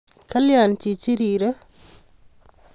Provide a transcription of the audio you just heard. Kalya chichin rirei?